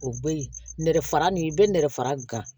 O be yen nɛrɛ fara nin i be nɛgɛ fara gan